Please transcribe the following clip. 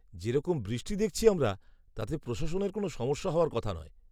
যেরকম বৃষ্টি দেখছি আমরা, তাতে প্রশাসনের কোনো সমস্যা হওয়ার কথা নয়।